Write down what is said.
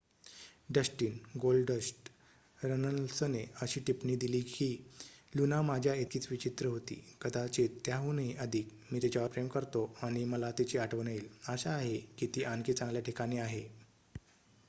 "Dustin "Goldust" रनल्सने अशी टिप्पणी दिली की "लुना माझ्या इतकीच विचित्र होती...कदाचित त्याहूनही अधिक...मी तिच्यावर प्रेम करतो आणि मला तिची आठवण येईल...आशा आहे की ती आणखी चांगल्या ठिकाणी आहे.""